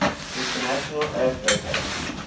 international earth rotation